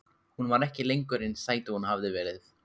Hún var ekki lengur eins sæt og hún hafði verið.